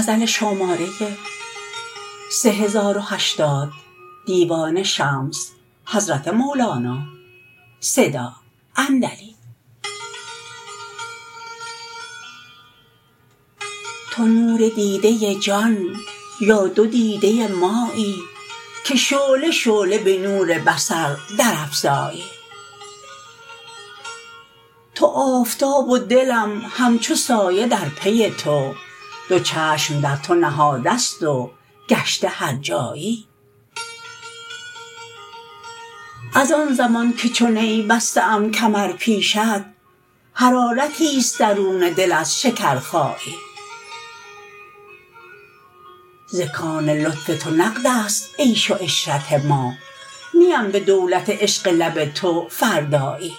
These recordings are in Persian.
تو نور دیده جان یا دو دیده مایی که شعله شعله به نور بصر درافزایی تو آفتاب و دلم همچو سایه در پی تو دو چشم در تو نهاده ست و گشته هرجایی از آن زمان که چو نی بسته ام کمر پیشت حرارتیست درون دل از شکرخایی ز کان لطف تو نقدست عیش و عشرت ما نیم به دولت عشق لب تو فردایی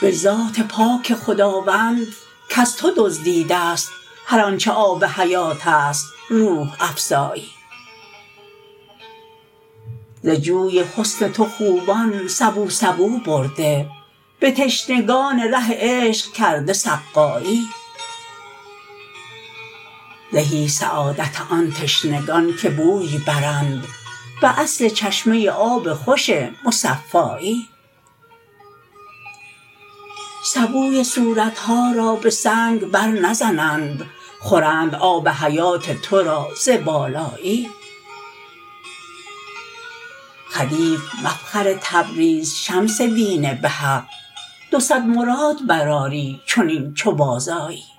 به ذات پاک خداوند کز تو دزدیده ست هر آنچ آب حیاتست روح افزایی ز جوی حسن تو خوبان سبو سبو برده به تشنگان ره عشق کرده سقایی زهی سعادت آن تشنگان که بوی برند به اصل چشمه آب خوش مصفایی سبوی صورت ها را به سنگ برنزنند خورند آب حیات تو را ز بالایی خدیو مفخر تبریز شمس دین به حق دو صد مراد برآری چنین چو بازآیی